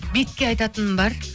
бетке айтатыным бар